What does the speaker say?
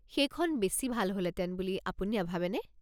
সেইখন বেছি ভাল হ'লহেতেন বুলি আপুনি নাভাবেনে?